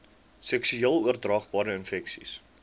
seksueel oordraagbare infeksies